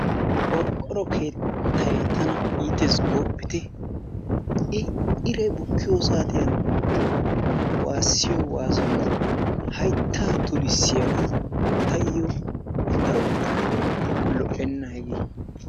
Qorqqoro keettay tana iitees gooppitte I iray bukkiyo saatiyan waasiyo waasoy hayttaa tulissiyaga taayo daroppe lo"oenna hegee.